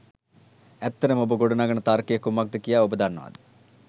ඇත්තටම ඔබ ගොඩ නගන තර්කය කුමක්ද කියා ඔබ දන්නවාද?